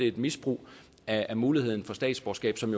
et misbrug af muligheden for statsborgerskab som